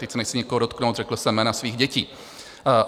Teď se nechci nikoho dotknout, řekl jsem jména svých dětí.